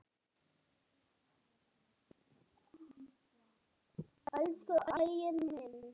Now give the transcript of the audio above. Köllum hlutina sínum réttu nöfnum.